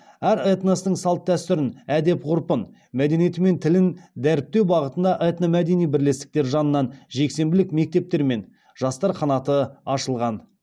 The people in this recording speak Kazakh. әр этностың салт дәстүрін әдеп ғұрпын мәдениеті мен тілін дәріптеу бағытында этномәдени бірлестіктер жанынан жексенбілік мектептер мен жастар қанаты ашылған